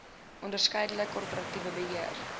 onderskeidelik korporatiewe beheer